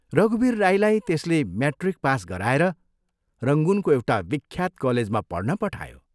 रघुवीर राईलाई त्यसले म्याट्रिक पास गराएर रंगूनको एउटा विख्यात कलेजमा पढ्न पठायो।